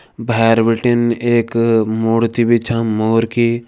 भैंर बटिन एक मूर्ति भी छ मोर की।